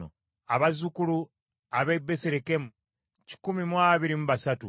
Abazzukulu ab’e Besirekemu kikumi mu abiri mu basatu (123),